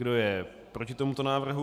Kdo je proti tomuto návrhu?